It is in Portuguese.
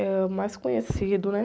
É o mais conhecido, né?